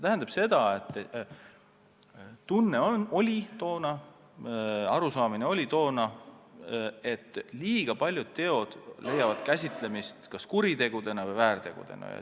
Oli tekkinud arusaam, et liiga paljud teod leiavad käsitlemist kas kuritegudena või väärtegudena.